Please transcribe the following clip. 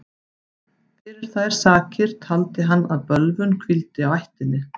Fyrir þær sakir taldi hann að bölvun hvíldi á ættinni.